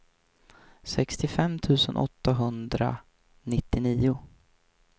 sextiofem tusen åttahundranittionio